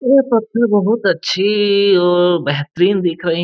ये पत्थर बहुत अच्छी और बेहतरीन दिख रही --